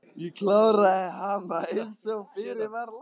Ég kláraði hana einsog fyrir var lagt.